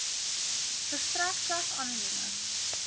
verstrek slegs anonieme